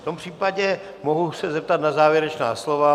V tom případě mohu se zeptat na závěrečná slova.